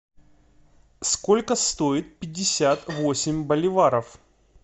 сколько стоит пятьдесят восемь боливаров